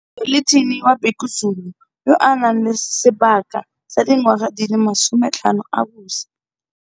Zwelithini wa Bhekuzulu yo a nang le sebaka sa dingwaga di le masome tlhano a busa.